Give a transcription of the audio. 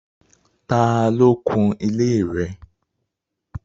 Tà lo kùn ilẹ̀ rẹ̀?